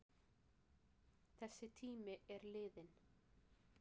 Þessi tími er liðinn.